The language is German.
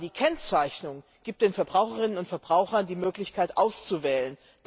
Aber die Kennzeichnung gibt den Verbraucherinnen und Verbrauchern die Möglichkeit auszuwählen.